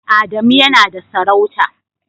Adamu yana da sarauta.